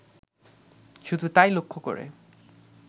শুধু তাই লক্ষ্য করে